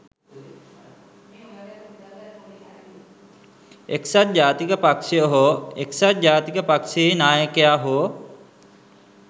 එක්සත් ජාතික පක්ෂය හෝ එක්සත් ජාතික පක්ෂයේ නායකයා හෝ